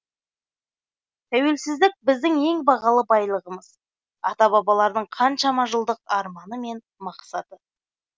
тәуелсіздік біздің ең бағалы байлығымыз ата бабалардың қаншама жылдық арманы мен мақсатты